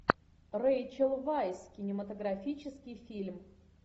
рэйчел вайс кинематографический фильм